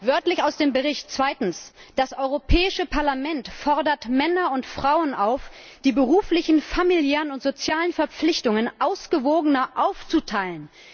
Wörtlich aus dem Bericht Zweitens Das Europäische Parlament fordert Männer und Frauen auf, die beruflichen, familiären und sozialen Verpflichtungen ausgewogener aufzuteilen.